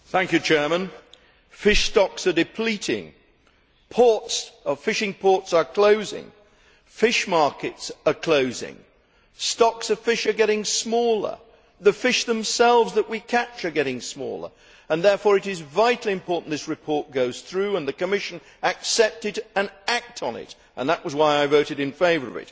Mr President, fish stocks are depleting, our fishing ports are closing, fish markets are closing, stocks of fish are getting smaller, the fish themselves that we catch are getting smaller and therefore it is vitally important this report goes through and the Commission accept it and act on it, and that was why I voted in favour of it.